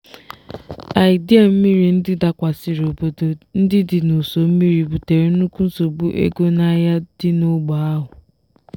idei mmiri ndị dakwasịrị obodo ndị dị n'ụsọ mmiri butere nnukwu nsogbu ego n'ahịa dị n'ógbè ahụ.